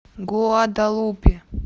гуадалупе